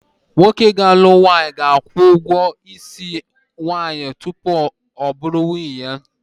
Nwoke ga-alụ nwaanyị ga-akwụ ụgwọ isi nwaanyị ya tupu ọ bụrụ nwunye ya